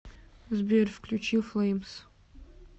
сбер включи флэймс